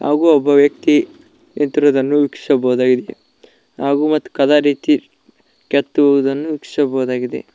ಹಾಗೂ ಒಬ್ಬ ವ್ಯಕ್ತಿ ನಿಂತಿರುವುದನ್ನು ವೀಕ್ಷಿಸಬಹುದಾಗಿದೆ ಹಾಗೂ ಮತ್ ಕದ ರೀತಿ ಕೆತ್ತುವುದನ್ನು ವೀಕ್ಷಿಸಬಹುದಾಗಿದೆ.